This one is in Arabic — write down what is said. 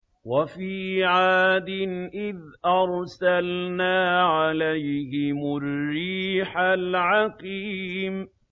وَفِي عَادٍ إِذْ أَرْسَلْنَا عَلَيْهِمُ الرِّيحَ الْعَقِيمَ